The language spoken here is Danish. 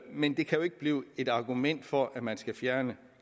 men det kan jo ikke blive et argument for at man skal fjerne